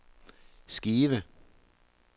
skive